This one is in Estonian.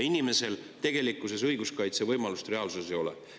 Inimesel õiguskaitsevõimalust reaalsuses ei ole.